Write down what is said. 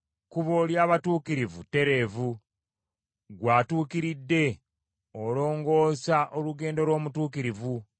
Ekkubo ly’abatuukirivu ttereevu; Ggwe atuukiridde, olongoosa olugendo lw’omutuukirivu.